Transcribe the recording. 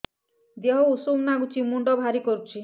ଦିହ ଉଷୁମ ନାଗୁଚି ମୁଣ୍ଡ ଭାରି କରୁଚି